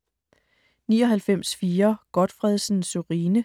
99.4 Gotfredsen, Sørine